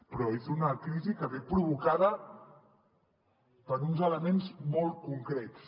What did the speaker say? però és una crisi que ve provocada per uns elements molt concrets